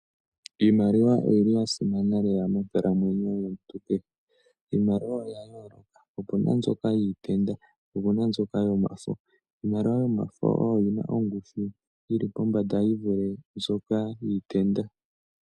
Iimaliwa oyi li ya simana lela monkalamwenyo yomuntu kehe, iimaliwa opena mbyoka iikukutu, opena mbyoka yomafo. Iimaliwa yomafo oyo yina ongushu yi vule mbyoka iikukutu.